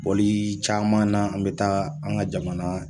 Boli caman na , an bɛ taa an ka jamana